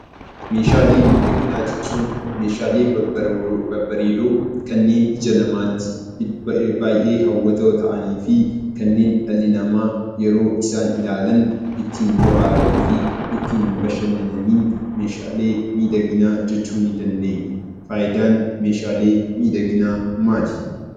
Meeshaalee miidhaginaa jechuun meeshaalee babbareedoo, kanneen ija namaatti baay'ee hawwatoo ta'anii fi kanneen dhalli namaa yeroo isaan ilaalan ittiin bohaaranii fi ittiin bashannananiin meeshaalee miidhaginaa jechuu ni dandeenya. Faayidaan meeshaalee miidhaginaa maali?